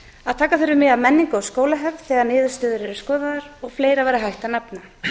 að taka þurfi mið af menningu og skólahefð þegar niðurstöður eru skoðaðar og fleira væri hægt að nefna